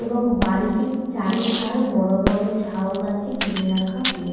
এবং বাড়িটির চারিধার বড় বড় ঝাউ গাছে ঘিরে রাখা হয়ে--